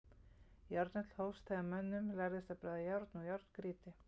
Járnöld hófst þegar mönnum lærðist að bræða járn úr járngrýti.